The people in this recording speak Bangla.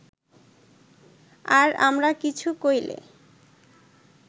আর আমরা কিছু কইলে